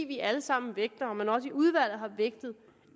vi alle sammen vægter og man også i udvalget har vægtet